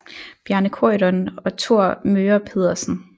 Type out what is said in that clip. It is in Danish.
Bjarne Corydon og Thor Möger Pedersen